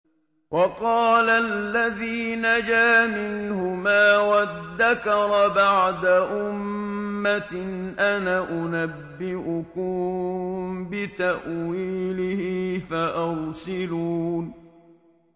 وَقَالَ الَّذِي نَجَا مِنْهُمَا وَادَّكَرَ بَعْدَ أُمَّةٍ أَنَا أُنَبِّئُكُم بِتَأْوِيلِهِ فَأَرْسِلُونِ